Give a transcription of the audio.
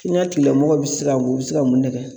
I n'a tigilamɔgɔ bɛ se ka o bɛ se ka mun ne kɛ?